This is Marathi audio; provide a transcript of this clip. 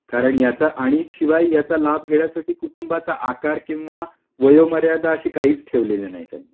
आणि शिवाय याचा लाभ घेण्यासाठी कुटुंबाचा आकार किंवा वयोमर्यादा अशी काहीच ठेवलेल्या नाहीत